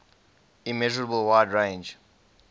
immeasurable wide range